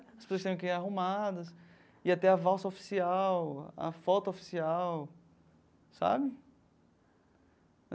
As pessoas teriam que ir arrumadas, ia ter a valsa oficial, a foto oficial, sabe?